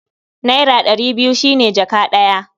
Naira ɗari biyu shi ne jaka ɗaya.